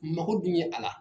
Mako dun ye a la.